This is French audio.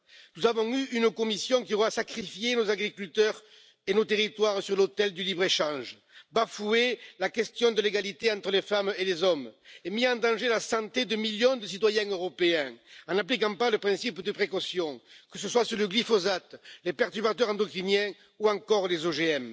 Nous avons eu une Commission qui aura sacrifié nos agriculteurs et nos territoires sur l'autel du libre échange, bafoué la question de l'égalité entre les femmes et les hommes et mis en danger la santé de millions de citoyens européens en n'appliquant pas le principe de précaution, que ce soit sur le glyphosate, les perturbateurs endocriniens ou encore les OGM.